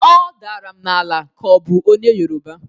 Ọ daram n"ala ka ọ bụ onye yeroba.